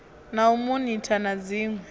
na u monitha na dziṋwe